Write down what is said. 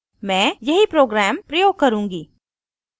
मैं यही program प्रयोग करुँगी